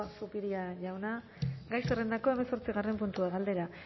zupiria jauna gai zerrendako hemezortzigarren puntua galdera